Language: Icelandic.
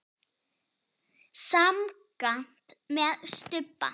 Semsagt með stubba.